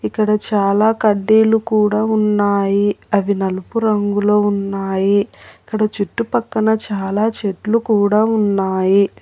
ఇక్కడ చాలా కడ్డీలు కూడా ఉన్నాయి అవి నలుపు రంగులో ఉన్నాయి ఇక్కడ చుట్టు పక్కన చాలా చెట్లు కూడా ఉన్నాయి.